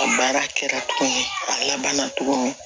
A baara kɛra tuguni a labanna tuguni